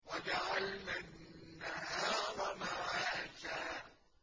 وَجَعَلْنَا النَّهَارَ مَعَاشًا